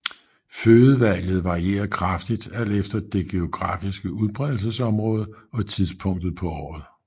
Fødevalget varierer kraftigt alt efter det geografiske udbredelsesområde og tidspunktet på året